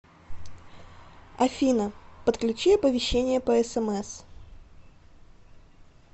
афина подключи оповещения по смс